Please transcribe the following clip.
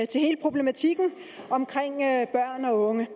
til hele problematikken omkring børn og unge